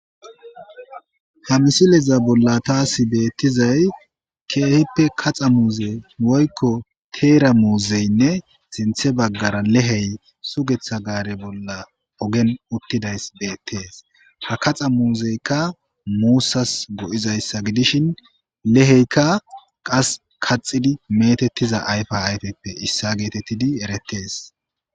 Ha misileza bolla taasi beettizay keehippe kaxa muuze woykko teera muuzeynne sinthe baggara lehey sugetha gaare bolla ogen uttidays beettees ha kaxa muuzeykka muussas go7izayssa gidishin leheykka qas kaxidi metettiza ayfa hayteppe issa geetettidi eretees